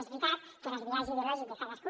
és veritat que el biaix ideològic de cadascú